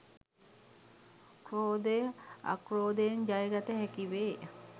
ක්‍රෝධය අක්‍රෝධයෙන් ජය ගත හැකිවේ.